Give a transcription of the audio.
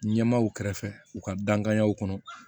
Ɲɛmaaw kɛrɛfɛ u ka dankanyaw kɔnɔ